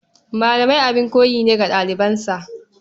Malami abin koyi ne ga ɗalibansa.